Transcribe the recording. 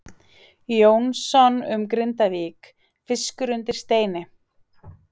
Jónssonar um Grindavík, Fiskur undir steini.